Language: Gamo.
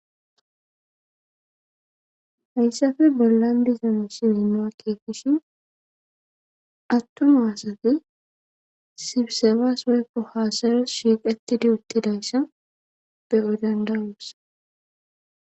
hayssafe bollan disano siwinoa keekishin attoma asati sibisefas woykko haasares shiiqettidi uttidayssa be7o danda7os.